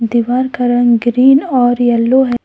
दीवार का रंग ग्रीन और येलो है।